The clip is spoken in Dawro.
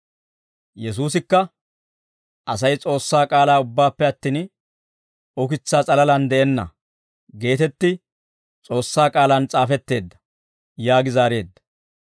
Yesuusikka, « ‹Asay S'oossaa K'aalaa ubbaappe attin ukitsaa s'alalaan de'enna› geetetti S'oossaa K'aalaan s'aafetteedda» yaagi zaareedda.